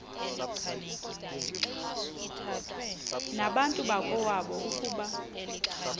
nabantu bakowabo ukuba